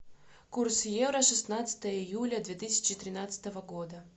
курс евро шестнадцатое июля две тысячи тринадцатого года